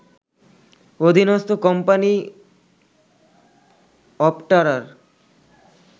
অধীনস্ত company অপটারার